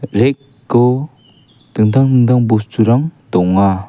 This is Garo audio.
rack-o dingtang dingtang bosturang donga.